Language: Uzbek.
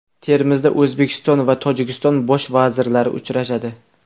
Termizda O‘zbekiston va Tojikiston Bosh vazirlari uchrashadi.